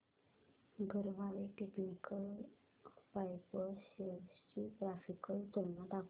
Garware technical fibres shares ची graphical तुलना दाखव